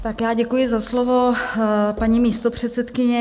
Tak já děkuji za slovo, paní místopředsedkyně.